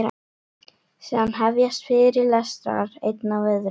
Síðan hefjast fyrirlestrar, einn af öðrum.